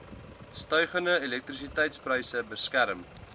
stygende elektrisiteitspryse beskerm